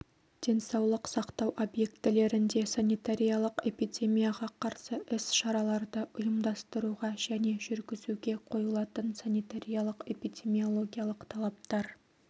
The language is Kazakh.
денсаулық сақтау объектілерінде санитариялық-эпидемияға қарсы іс-шараларды ұйымдастыруға және жүргізуге қойылатын санитариялық-эпидемиологиялық талаптар